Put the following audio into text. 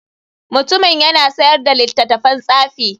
Mutumin yana sayar da littattafan tsafi.